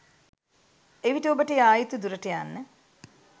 එවිට ඔබට යා යුතු දුරට යන්න